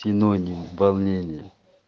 синоним волнение